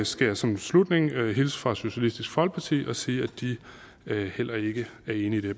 skal jeg som afslutning hilse fra socialistisk folkeparti og sige at de heller ikke er enige i